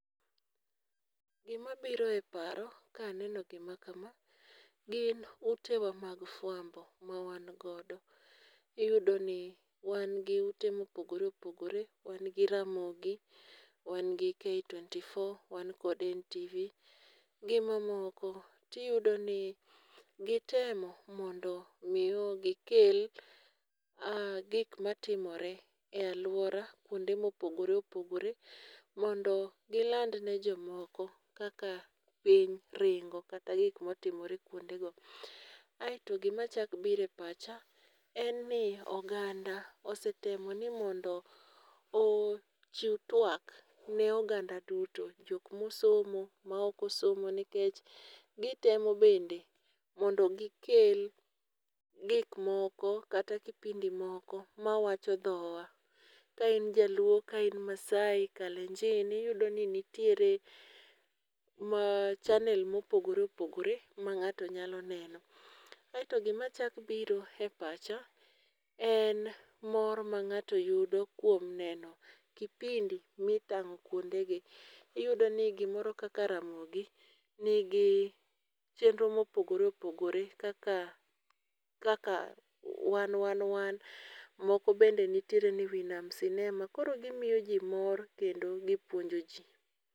Gi mabiro e paro, ka aneno gima kama, gin utewa mag fwambo ma wan godo. Yudo ni, wan gi ute mopogore opogore, wan gi ramogi, wan gi K24, wan kode NTV. Gi mamoko. Tiyudo ni gitemo mondo miyo gi kel aa gik matimore e aluora kuonde mopogore opogore mondo giland ne jomoko kaka piny, ringo kata gik motimore kuondego. Aeto gi machak bire pacha, en ni oganda osetemo ni mondo ochiw twak ne oganda duto, jok mosomo ma, ok osomo nikech gitemo bende mondo gi kel gik moko kata kipindi moko ma wacho dhowa. Ka in jaluo ka in Maasai, kalenjin iyudo ni nitiere ma channel mopogore opogore ma ng'ato nyalo neno. Aeto gi machak biro e pacha, en mor mang'ato yudo kuom neno kipindi mitang'o kuondegi. Iyudo ni gi moro kaka ramogi, nigi chenro mopogore opogore kaka, kaka wan wan wan moko bende nitiere ni winam sinema, koro gimiyo ji mor kendo gipuonjo ji.